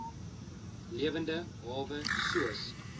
lewende hawe soos